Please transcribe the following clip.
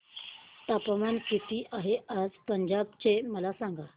तापमान किती आहे आज पंजाब चे मला सांगा